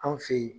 Anw fe ye